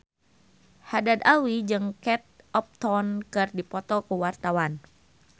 Haddad Alwi jeung Kate Upton keur dipoto ku wartawan